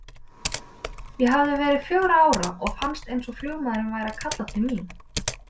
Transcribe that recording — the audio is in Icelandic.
Ég hafði verið fjögurra ára og fannst eins og flugmaðurinn væri að kalla til mín.